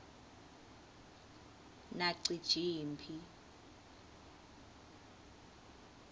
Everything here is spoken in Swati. nacijimphi